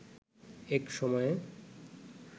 এক সময়ে